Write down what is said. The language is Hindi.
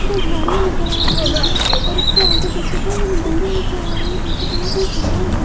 जो झाड़ियां नजर आ रही हैं और उसके आगे देखें तो बिल्डिंग नजर आ रही जैसे कि वहां पे शहर है।